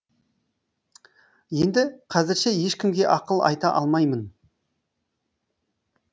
енді қазірше ешкімге ақыл айта алмаймын